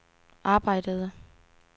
arbejdede